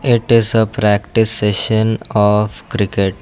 it is a practice session of cricket.